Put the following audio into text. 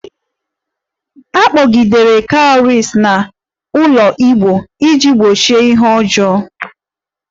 A kpọgidere Cowries n'ụlọ igbo iji gbochie ihe ọjọọ